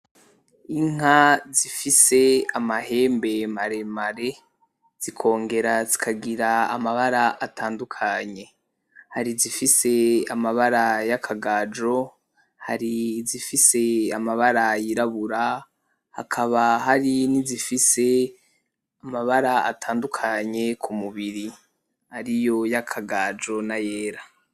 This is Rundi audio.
Inka zifise amahembe maremare, zikongera zikagira amabara atandukanye, hari izifise amabara yakagajo, hari izifise amabara yirabura, hakaba hari nizifise amabara atandukanye kumubiri ariyo yakagaju nayera.